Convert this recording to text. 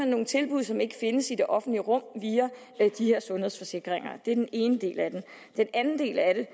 nogle tilbud som ikke findes i det offentlige rum via de her sundhedsforsikringer det er den ene del af det den anden del af det